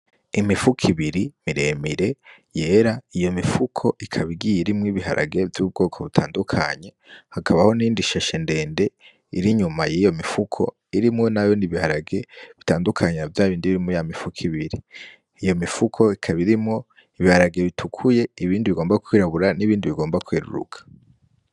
Imifuko ibiri miremire yera, iyo mifuko ikaba igiye irimwo ibiharage vy'ubwoko butandukanye, hakabaho n'iyindi shashe ndende iri inyuma yiyo mifuko irimwo nayone ibiharage, bitandukanye na vyabindi biri muri ya mifuko ibiri, iyo mifuko ikaba irimwo ibiharage bitukuye, ibindi bigomba kwirabura, n'ibindi bigomba kweruruka.